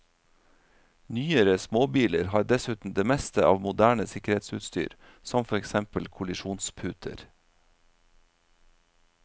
Nyere småbiler har dessuten det meste av moderne sikkerhetsutstyr, som for eksempel kollisjonsputer.